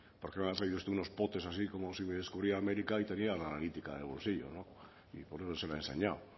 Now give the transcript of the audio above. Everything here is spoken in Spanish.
porque me ha traído usted unos botes así como si me descubriera américa y tenía la analítica en el bolsillo y por qué no se ha enseñado